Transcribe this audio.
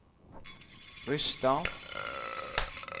Rysstad